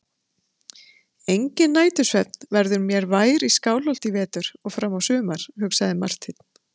Enginn nætursvefn verður mér vær í Skálholti í vetur og fram á sumar, hugsaði Marteinn.